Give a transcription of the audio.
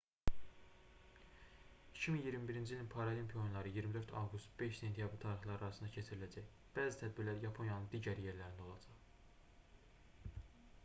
2021-ci ilin paralimpiya oyunları 24 avqust - 5 sentyabr tarixləri arasında keçiriləcək bəzi tədbirlər yaponiyanın digər yerlərində olacaq